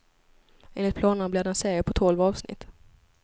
Enligt planerna blir det en serie på tolv avsnitt.